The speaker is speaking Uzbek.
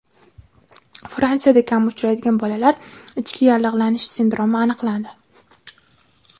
Fransiyada kam uchraydigan bolalar ichki yallig‘lanishi sindromi aniqlandi.